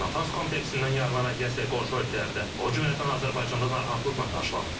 Natanz kompleksindən yayılan radiasiya qonşu ölkələrdə, o cümlədən Azərbaycanda narahatlıqla qarşılanıb.